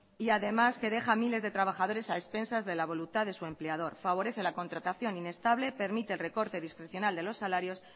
y además que deja a miles de trabajadores a expensas de la voluntad de su empleador favorece la contratación inestable permite el recorte discrecional de los salarios